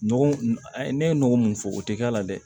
Nɔgɔ ne ye nɔgɔ mun fɔ o tɛ k'a la dɛ